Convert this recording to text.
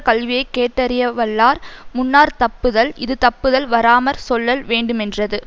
கல்வியை கேட்டறியவல்லார் முன்னார்த் தப்புதல் இது தப்புதல் வாராமற் சொல்லல் வேண்டுமென்றது